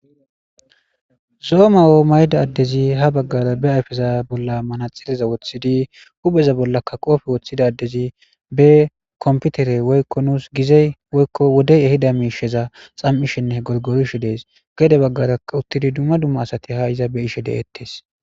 zoo'o mayo mayda addezi ha baggara be ayfeza bolla manaxileza woththidi hubheza bollakka qoofe woththidaddezi be komputere woykko nuus gizey woykko wodey ehida miisheza xam7ishenne gorgorishe dees gede baggara uttidi dumma dumma asati ha iza be ishe de7ettes